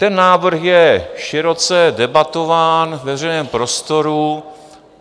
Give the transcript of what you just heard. Ten návrh je široce debatován ve veřejném prostoru.